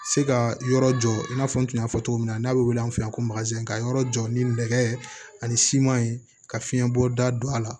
Se ka yɔrɔ jɔ i n'a fɔ n tun y'a fɔ cogo min na n'a bɛ wele an fɛ yan ko ka yɔrɔ jɔ ni nɛgɛ ani siman ye ka fiɲɛbɔ da don a la